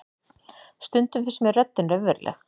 Stundum finnst mér röddin raunveruleg.